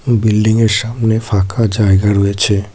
Building -এর সামোনে ফাঁকা জায়গা রয়েছে।